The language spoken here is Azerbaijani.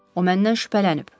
O məndən şübhələnib.